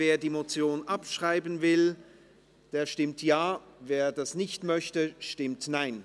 Wer die Motion abschreiben will, stimmt Ja, wer dies nicht möchte, stimmt Nein.